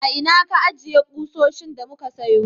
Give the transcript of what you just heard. A ina ka ajiye kusoshin da muka sayo?